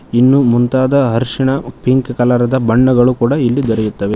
ಇನ್ನು ಮುಂತಾದ ಅರ್ಷನ ಉ ಪಿಂಕ್ ಕಲರ ದ ಬಣ್ಣಗಳು ಕೂಡ ಇಲ್ಲಿ ದೊರೆಯುತ್ತವೆ.